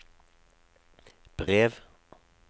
brev